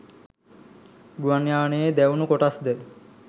ගුවන් යානයේ දැවුණු කොටස්ද